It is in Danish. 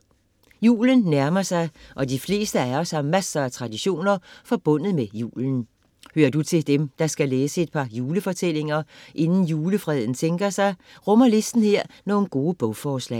Julen nærmer sig og de fleste af os har masser af traditioner forbundet med julen. Hører du til dem, der skal læse et par julefortællinger inde julefreden sænker sig, rummer listen her nogle gode bogforslag.